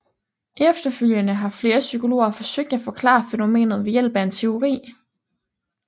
Efterfølgende har flere psykologer forsøgt at forklare fænomenet ved hjælp af en teori